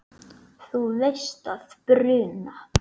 Þú veist að bruna